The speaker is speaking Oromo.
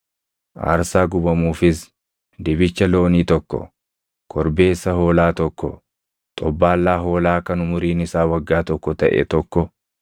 aarsaa gubamuufis dibicha loonii tokko, korbeessa hoolaa tokko, xobbaallaa hoolaa kan umuriin isaa waggaa tokko taʼe tokko,